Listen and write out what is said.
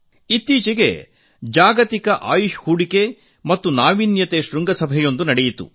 ಇತ್ತೀಚೆಗೆ ಒಂದು ಜಾಗತಿಕ ಆಯುಷ್ ಹೂಡಿಕೆ ಮತ್ತು ನಾವೀನ್ಯತೆ ಶೃಂಗಸಭೆ ನಡೆಯಿತು